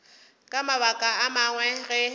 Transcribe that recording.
ka mabaka a mangwe ge